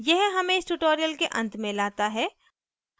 यह हमें इस tutorial के अंत में लाता है